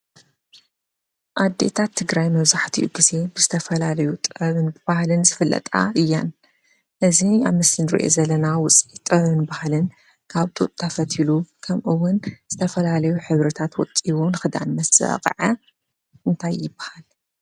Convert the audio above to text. ኣዴታት ትግራይ መብዛሕትኡ ግዜ ብዝተፈላለዩ ጥበብን ባህልን ዝፍለጣ እየን። እዚ ኣብ ምስሊ ንሪኦ ዘለና ውፅኢት ጥበብን ባህልን ካብ ጡጥ ተፈቲሉ ከምኡውን ብዝተፈላለዩ ሕብርታት ወቂቡ ንኽዳን ምስበቅዐ እንታይ ይበሃል?